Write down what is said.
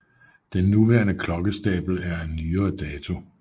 Den nuværende klokkestabel er af nyere dato